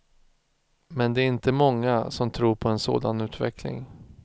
Men det är inte många som tror på en sådan utveckling.